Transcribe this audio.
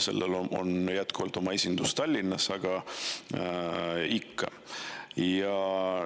Sellel on jätkuvalt oma esindus Tallinnas, aga ikkagi.